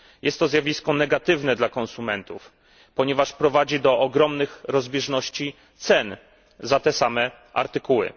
Jest to zjawisko negatywne dla konsumentów, ponieważ prowadzi do ogromnych rozbieżności cen za te same artykuły.